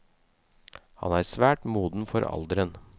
Han er svært moden for alderen.